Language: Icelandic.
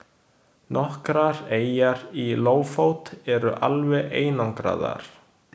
Nokkrar eyjar í Lófót eru alveg einangraðar.